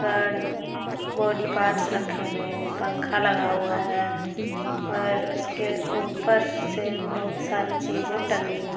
कार्ड-अ body parts रखे हुए हैं। पंखा लगा हुआ है और उसके ऊपर से बहुत सारी चीजे टंगी हुई--